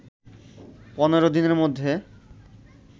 পনেরো দিনের মধ্যে